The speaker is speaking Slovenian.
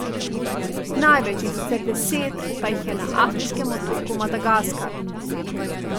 Največ, in sicer deset, pa jih je na afriškem otoku Madagaskar.